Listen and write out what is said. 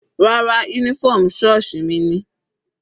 Rárá, uniform sọ́ọ̀sì mi ni.